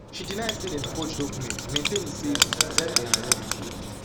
she deny say dem forge documents maintaining say zeya zeya na her relative